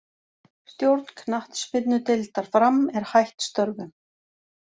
Stjórn knattspyrnudeildar Fram er hætt störfum.